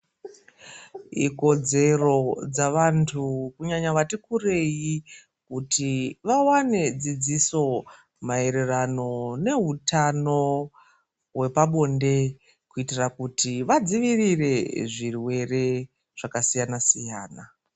Ikodzero dzavantu kunyanya vati kurei kuti vawane dzidziso maererano nehutano hwepabonde kuitira kuti vadzivirire zvirwere zvakasiyana siyana.